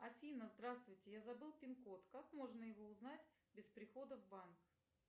афина здравствуйте я забыл пин код как можно его узнать без прихода в банк